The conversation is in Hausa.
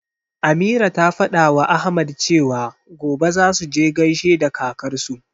Ameera ta fadawa Ahmad cewa, gobe zasu je gaishe da kakarsu.